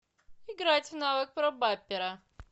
играть в навык пробапера